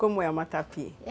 Como é o matapi?